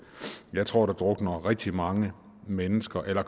jeg tror der drukner rigtig mange mennesker eller